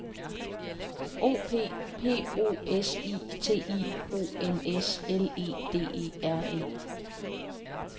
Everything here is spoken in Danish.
O P P O S I T I O N S L E D E R E